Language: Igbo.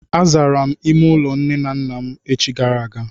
Azara m ime ụlọ nne na nna m echi gara aga.